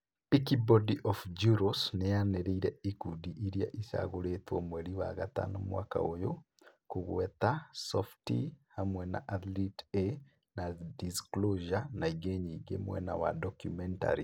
Peakbody board of Jurors nĩ yaanĩrĩre ikundi iria icagũrĩtwo mweri wa gatano mwaka ũyũ, kũgweta "Softie" hamwe na "athlete A" na "disclosure" na ĩngĩ nyingĩ mwena wa documentaries.